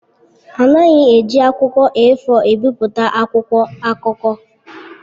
A naghị eji akwụkwọ A4 ebipụta akwụkwọ akụkọ.